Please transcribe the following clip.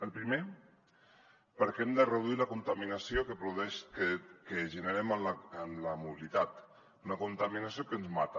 el primer perquè hem de reduir la contaminació que generem en la mobilitat una contaminació que ens mata